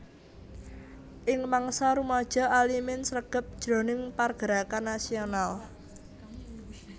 Ing mangsa rumaja Alimin sregep jroning pargerakan nasional